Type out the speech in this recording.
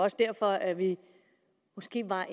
også derfor at vi måske var